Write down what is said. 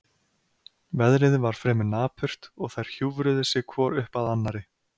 Veðrið var fremur napurt og þær hjúfruðu sig hvor upp að annarri.